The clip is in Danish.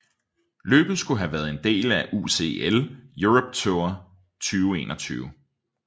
Løbet skulle have været en del af UCI Europe Tour 2021